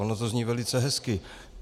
Ono to zní velice hezky.